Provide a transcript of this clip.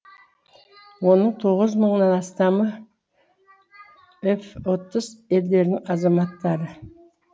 оның тоғыз жүз мыңнан мыңнан астамы еф отыз елдерінің азаматтары